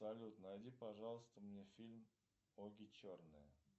салют найди пожалуйста мне фильм оги черные